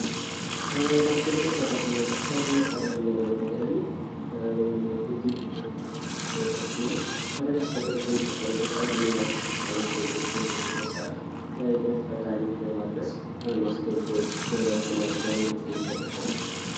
ማስታወቂያ ሰራተኛ አሰሪና ሰራተኛን ለማገናኘት ዋነኛው ድልድይ ሆነው የሚያገለግል ነገር ሲሆን አዳዲስ ነገር በሚፈጠርበት ጊዜ ወይም አዳዲስ ማስታወቂያዎች በሚወጡበት ሰዓት ለፈላጊዎች ለማድረስ ማስታወቂያዎች በተለያዩ ባነሮች ላይ ይለጠፋሉ።